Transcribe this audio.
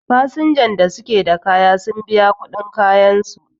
fasnjan da suke da kaya suna biyan kuɗin kayansu